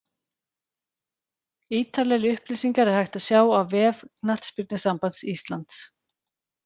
Ítarlegri upplýsingar er hægt að sjá á vef Knattspyrnusambands Íslands.